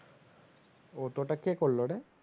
ও তো ওটা কে করলোরে